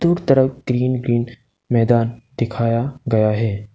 तरफ green green मैदान दिखाया गया है।